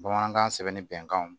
Bamanankan sɛbɛnni bɛnkanw